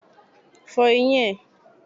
Fọ eyín ẹ.!